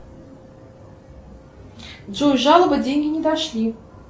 джой жалоба деньги не дошли